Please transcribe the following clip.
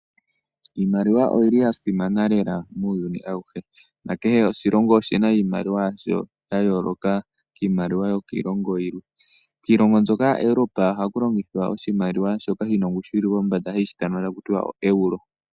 Iimaliwa oyi li ya simana lela muuyuni awuhe na kehe oshilongo oshina iimaliwa yasho ya yooloka kiimaliwa yokiilongo yilwe. Kiilongo mbyoka ya Europe ohaku longithwa oshimaiiwa shoka shina ongushu yi li pombanda hashi ithanwa taku ti oEuro.